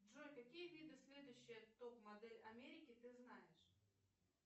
джой какие виды следующая топ модель америки ты знаешь